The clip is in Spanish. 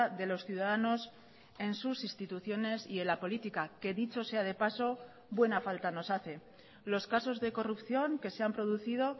de los ciudadanos en sus instituciones y en la política que dicho sea de paso buena falta nos hace los casos de corrupción que se han producido